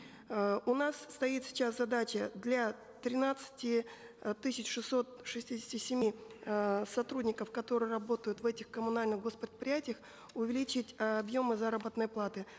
э у нас стоит сейчас задача для тринадцати э тысяч шестисот шестидесяти семи э сотрудников которые работают в этих коммунальных гос предприятиях увеличить э объемы заработной платы